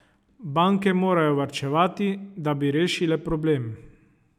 Banke morajo varčevati, da bi rešile problem.